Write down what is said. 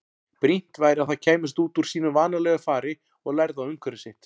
Brýnt væri að það kæmist út úr sínu vanalega fari og lærði á umhverfi sitt.